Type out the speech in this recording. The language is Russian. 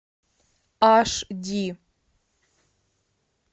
аш ди